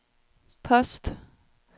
post